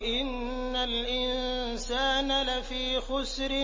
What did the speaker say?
إِنَّ الْإِنسَانَ لَفِي خُسْرٍ